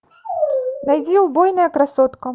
найди убойная красотка